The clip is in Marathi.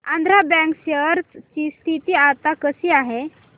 आंध्रा बँक शेअर ची स्थिती आता कशी आहे